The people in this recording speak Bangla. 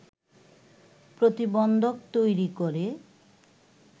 প্রতিবন্ধক তৈরি করে